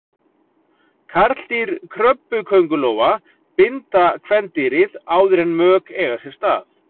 Karldýr krabbaköngulóa binda kvendýrið áður en mök eiga sér stað.